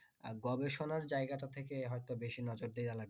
আর গবেষণার জায়গাটা থেকে হয় তো বেশি নজর দেওয়া লাগবে